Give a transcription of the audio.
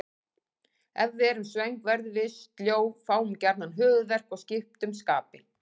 Ef við erum svöng verðum við sljó, fáum gjarnan höfuðverk og skiptum skapi.